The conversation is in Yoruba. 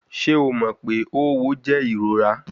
Ṣe o mọ pe õwo jẹ irora?